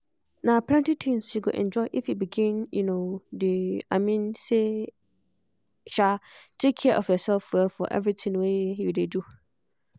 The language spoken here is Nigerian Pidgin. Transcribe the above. na plenty tins you go enjoy if you begin um dey i mean say um take care of yourself well for everything wey you dey do